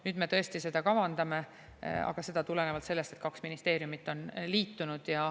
Nüüd me tõesti seda kavandame, aga seda tulenevalt sellest, et kaks ministeeriumi on liitunud.